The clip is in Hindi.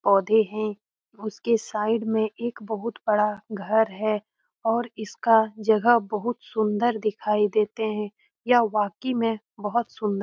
पौधे है उसके साइड मे एक बहुत बड़ा घर है और इसका जगह बहुत सुंदर दिखाई देते है यह वाकई मे बहुत सुंदर --